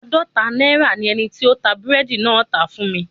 Aadọta naira ni eniti o n ta búredì naa tá fun mi